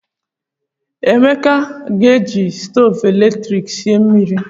Emeka a ga-eji stovu eletrik sie mmiri?